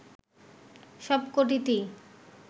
সব কটিতেই